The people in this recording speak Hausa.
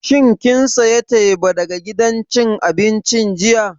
Shin kin saya teba daga gidan cin abincin jiya?